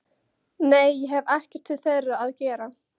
Nei ég hef ekkert til þeirra að gera.